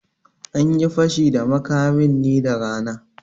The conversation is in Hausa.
Anyi Fashi da makamin ne da rana